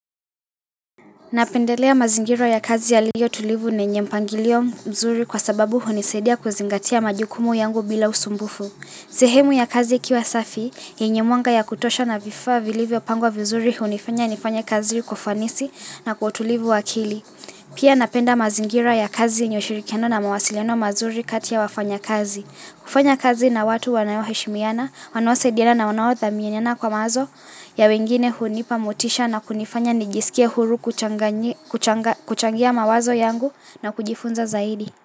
Napendelea mazingira ya kazi yaliyo tulivu na yenye mpangilio mzuri kwa sababu hunisadia kuzingatia majukumu yangu bila usumbufu. Sehemu ya kazi ikiwa safi, yenye mwanga ya kutosha na vifaa vilivyo pangwa vizuri hunifanya nifanya kazi kwa ufanisi na kutulivu wakili. Pia napenda mazingira ya kazi yenye ushirikiano na mawasileno mazuri kati ya wafanyekazi. Kufanya kazi na watu wanaoheshimiana, wanao saidiana wanawao thamiana kwa mawazo ya wengine hunipa mutisha na kunifanya nijisikia huru kuchangia mawazo yangu na kujifunza zaidi.